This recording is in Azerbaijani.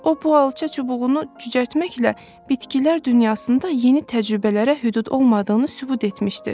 O bu alça çubuğunu cücərtməklə bitkilər dünyasında yeni təcrübələrə hüdud olmadığını sübut etmişdir.